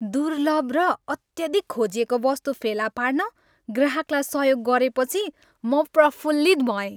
दुर्लभ र अत्यधिक खोजिएको वस्तु फेला पार्न ग्राहकलाई सहयोग गरेपछि, म प्रफुल्लित भएँ।